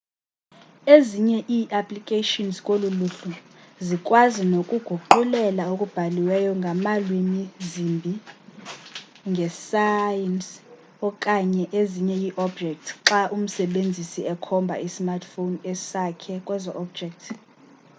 ezinye i applications kolu luhlu zikwazi nokuguqulela okubhaliweyo ngalwimi zimbi ngesayns okanye ezinye iiobjects xa umsebenzisi ekhomba ismartphone sakhe kwezo objects